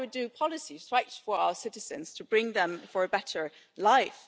That is why we do policies to fight for our citizens to bring them a better life.